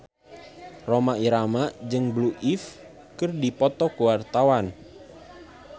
Rhoma Irama jeung Blue Ivy keur dipoto ku wartawan